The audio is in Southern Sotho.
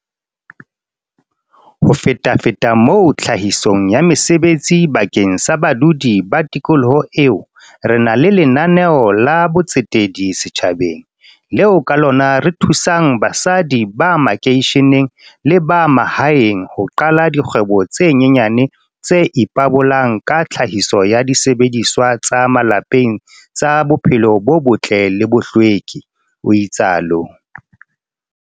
"Ho fetafeta moo tlhahisong ya mesebetsi bakeng sa badudi ba tikoloho eo, re na le lena neo la botsetedi setjhabeng, leo ka lona re thusang basadi ba makeisheneng le ba mahaeng ho qala dikgwebo tse nyenyane tse ipabolang ka tlhahiso ya disebediswa tsa malapeng tsa bophelo bo botle le bohlweki," o itsalo.